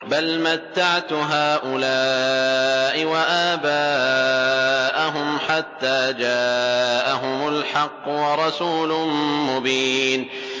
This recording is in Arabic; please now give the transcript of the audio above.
بَلْ مَتَّعْتُ هَٰؤُلَاءِ وَآبَاءَهُمْ حَتَّىٰ جَاءَهُمُ الْحَقُّ وَرَسُولٌ مُّبِينٌ